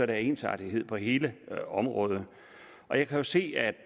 der ensartethed på hele området og jeg kan jo se at